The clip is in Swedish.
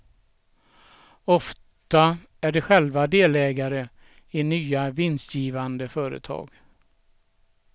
Ofta är de själva delägare i nya vinstgivande företag.